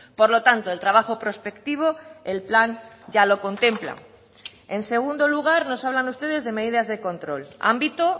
por lo tanto el trabajo prospectivo el plan ya lo contempla en segundo lugar nos hablan ustedes de medidas de control ámbito